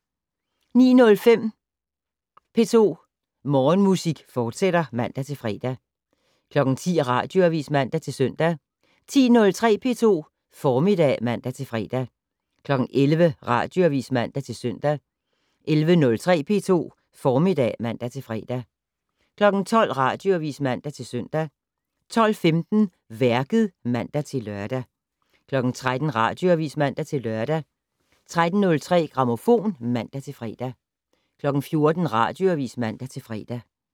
09:05: P2 Morgenmusik, fortsat (man-fre) 10:00: Radioavis (man-søn) 10:03: P2 Formiddag (man-fre) 11:00: Radioavis (man-søn) 11:03: P2 Formiddag (man-fre) 12:00: Radioavis (man-søn) 12:15: Værket (man-lør) 13:00: Radioavis (man-lør) 13:03: Grammofon (man-fre) 14:00: Radioavis (man-fre)